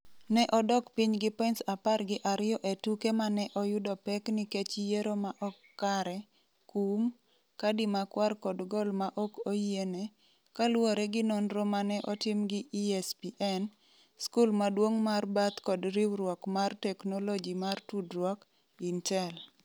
Ne odok piny gi points 12 e tuke ma ne oyudo pek nikech yiero ma ok kare, kum, kadi makwar kod goal ma ok oyiene, kaluwore gi nonro ma ne otim gi ESPN, skul maduong’ mar Bath kod riwruok mar teknoloji mar tudruok, Intel.